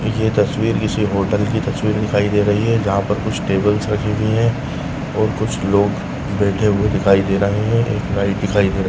ये तस्वीर किसी हॉटेल की तस्वीर दिखाई दे रही है जहा पर कुछ टेब्लस रखी हुई है और कुछ लोग बैठे हुए दिखाई दे रहे है एक लाइट दिखाई --